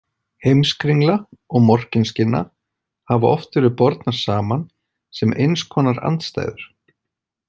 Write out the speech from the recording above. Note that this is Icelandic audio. Heimskringla og Morkinskinna hafa oft verið bornar saman, sem eins konar andstæður.